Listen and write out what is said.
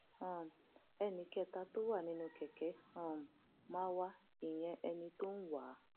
um ẹnì kẹta tó wà nínú kẹkẹ um marwa ìyẹn ẹni tó ń wá a